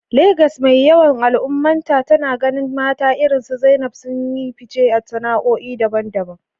Legas mai yawan al’ummarta, tana ganin mata irinsu Zainab sun yi fice a sana’o’i daban-daban.